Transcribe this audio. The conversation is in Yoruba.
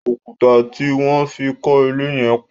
Òkúta tí wọ́n fi kọ ilé yẹn pọ̀.